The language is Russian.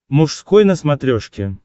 мужской на смотрешке